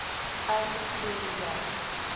elke tweede jaar